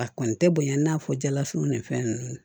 A kɔni tɛ bonya i n'a fɔ jalafiniw ni fɛn nunnu